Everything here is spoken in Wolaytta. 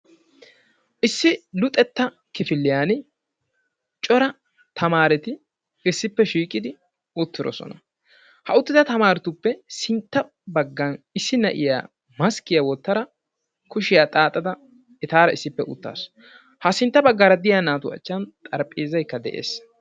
Issi luxetta kifiliyan cora tamaareti issippe shiiqidi uttirosona. Ha uttida tamaaretuppe sintta baggan issi na'iya maskkiya wottada kushiya xaaxada etaara issippe uttaasu. Ha sintta baggaara de'iya naatu achchan xarphpheezaykka de'ees.